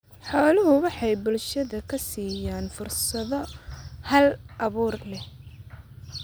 Xooluhu waxay bulshada ka siiyaan fursado hal abuur leh.